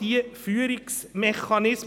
Oder von SVPJungpolitikerinnen?